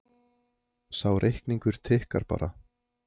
Sá reikningur tikkar bara